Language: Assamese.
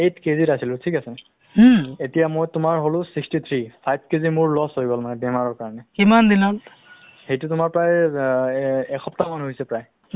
মাজত শুনিছিলো মাজত শুনিছিলো তোমাৰ অ তুমি কিবা ক'ভিড nineteen ৰ work project এটাত কাম কৰি আছিলা কেনেকে পালা কেনেকুৱা ধৰণৰ তোমাৰ project